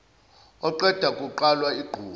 oqeda kuqwala igquma